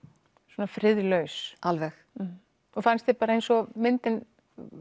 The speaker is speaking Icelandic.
svona friðlaus alveg og fannst þér bara eins og myndin